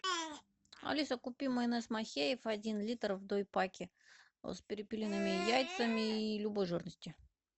алиса купи майонез махеев один литр в дой паке с перепелиными яйцами и любой жирности